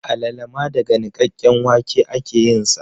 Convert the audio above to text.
Alala ma daga nikakken wake ake yin sa